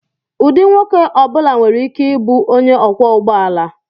Ụdị nwoke ọ bụla nwere ike ịbụ onye ọkwọ ụgbọ ala.